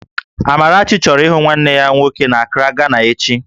Amarachi chọrọ ịhụ nwanne ya nwoke n'Akraa, Gana echi